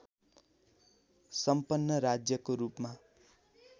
सम्पन्न राज्यको रूपमा